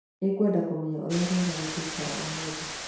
Nĩngwenda kũmenya ũrĩa rĩera rĩgaikara ũmũthĩ